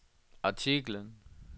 artiklen